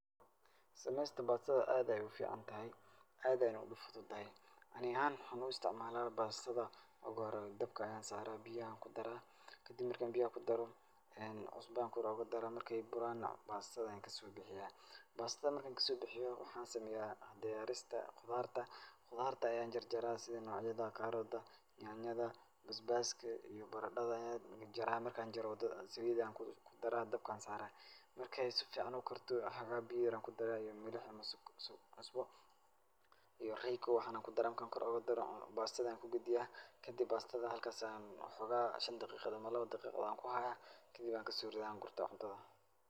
Sameysta baastada aad ayaay u ficantahay aad ayaana u fududahay. Ani ahaan waxaan u istacmaalaa bastada, kolka hore dabka ayaan saaraa, biyo ayaan ku daraa. Kadib marka aan biyo ku daro, cusbo ayaan kor oogu daraa. Marka ay buraana bastadan ka soo bixiyaa. Bastada marka ann ka soo bixiyo, waxaan sameeya diyaarista qudaarta. Qudaarta ayaan jarjaraa sida nocyada kaarotka, nyaanyada, basbaaska iyo baradada ayaan jaraa. Marka aan jaro, saliid ayaan ku daraa dabka ayaan saara. Marka ay si ficaan u karto xxogaha biyo yer ayaan ku daraa iyo milaha mise cusbo iyo royco waxan ayaa ku daraa. Marka aan kor ugu daro baastada ayaa ku gediyaa. Kadib bastada halkas ayaan xoogaha shan daqiiqadood ama laba daqiiqo aan ku haaya kadib waan ku soo ridaa waan gurta cuntada.